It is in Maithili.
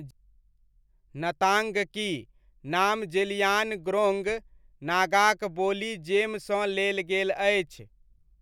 नताङ्गकी' नाम ज़ेलियानग्रोङ्ग नागाक बोली जेमसँ लेल गेल अछि।